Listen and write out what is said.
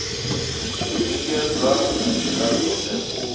lingedza nga ndila dzothe u